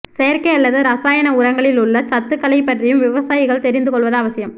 செயற்கை அல்லது ரசாயன உரங்களில் உள்ள சத்துக்களை பற்றியும் விவசாயிகள் தெரிந்து கொள்வது அவசியம்